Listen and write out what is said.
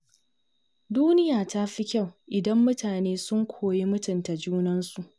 Duniya ta fi kyau idan mutane sun koyi mutunta junansu.